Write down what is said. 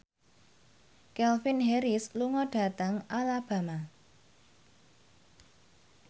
Calvin Harris lunga dhateng Alabama